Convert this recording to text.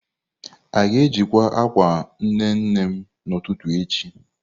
A ga-ejikwa akwa nne nne m n'ụtụtụ echi?